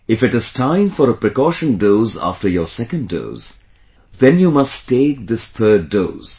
If it is time for a precaution dose after your second dose, then you must take this third dose